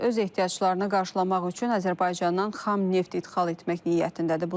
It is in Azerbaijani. Pakistan öz ehtiyaclarını qarşılamaq üçün Azərbaycandan xam neft ixal etmək niyyətindədir.